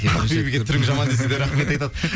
ақбибіге келіп түрің жаман десе де рахмет айтады